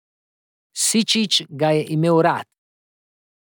Sičič ga je imel rad.